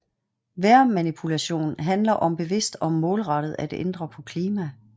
Vejrmanipulation handler om bevidst og målrettet at ændre på klima